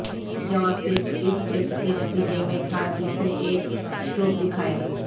جواب صرف اس ٹیسٹ کے نتیجے میں تھا جس نے ایک اسٹروک دکھایا